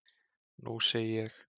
Nú segi ég.